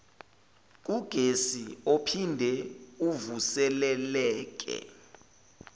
kugesi ophinde uvuseleleke